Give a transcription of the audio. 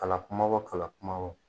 Kala kumabaw kala kumabaw.